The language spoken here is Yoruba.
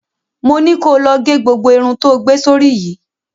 Mo ni ko lọ ge gbogbo irun tó gbé sórí yìí!